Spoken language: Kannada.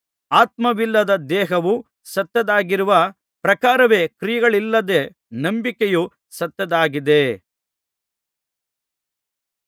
ಆತ್ಮವಿಲ್ಲದ ದೇಹವು ಸತ್ತದ್ದಾಗಿರುವ ಪ್ರಕಾರವೇ ಕ್ರಿಯೆಗಳಿಲ್ಲದ ನಂಬಿಕೆಯೂ ಸತ್ತದ್ದಾಗಿದೆ